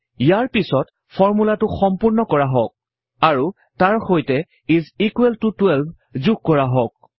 ইয়াৰ পিছত ফৰ্মূলাটো সম্পূৰ্ণ কৰা হওঁক আৰু তাৰ সৈতে ইচ ইকোৱেল ত 12 যোগ কৰা হওঁক